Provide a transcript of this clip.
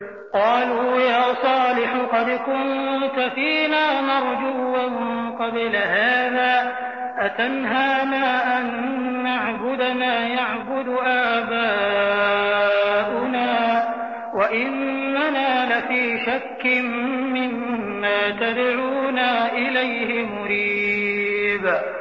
قَالُوا يَا صَالِحُ قَدْ كُنتَ فِينَا مَرْجُوًّا قَبْلَ هَٰذَا ۖ أَتَنْهَانَا أَن نَّعْبُدَ مَا يَعْبُدُ آبَاؤُنَا وَإِنَّنَا لَفِي شَكٍّ مِّمَّا تَدْعُونَا إِلَيْهِ مُرِيبٍ